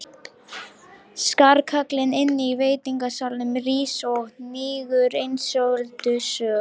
Skarkalinn inní veitingasalnum rís og hnígur einsog öldusog.